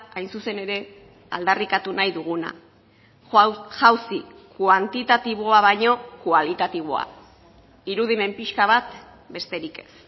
hain zuzen ere aldarrikatu nahi duguna jauzi kuantitatiboa baino kualitatiboa irudimen pixka bat besterik ez